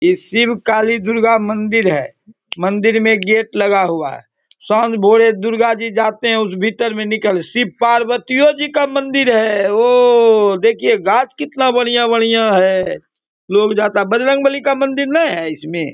ये सिर्फ कालीदुर्गा मंदिर है। मंदिर में एक गेट लगा हुआ है। दुर्गा जी जाते हैं उस भीतर में निकल। शिव पार्वती ओजी का मंदिर है औ देखिये गाछ कितना बढ़िया-बढ़िया है। लोग जाता बजरंगबली का मंदिर न है इसमें ?